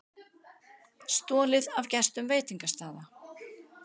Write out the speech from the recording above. Stolið af gestum skemmtistaða